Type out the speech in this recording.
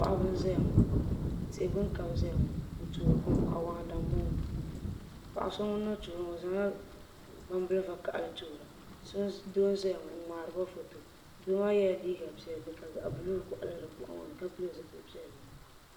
paɣiba n-zaya ŋɔ tihi gbuni ka bɛ zaya ŋɔ n-toori kom awaana m-bɔŋɔ paɣ' so ŋun na toori maa o zaŋla gbam' bil' vakahili n-toora doo n-zaya ŋɔ n-ŋmaari ba foto doo maa yɛla liiga piɛlli ka buluu kɔɣili di bɔɣu ŋɔ ni ka pili zipil' piɛlli